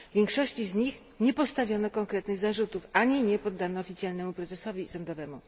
Większości z nich nie postawiono konkretnych zarzutów ani nie poddano oficjalnemu procesowi sądowemu.